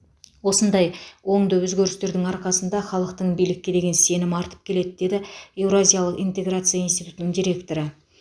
осындай оңды өзгерістердің арқасында халықтың билікке деген сенімі артып келеді деді еуразиялық интеграция институтының директоры